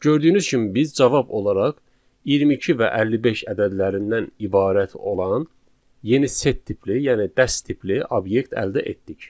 Gördüyünüz kimi biz cavab olaraq 22 və 55 ədədlərindən ibarət olan yeni set tipli, yəni dəst tipli obyekt əldə etdik.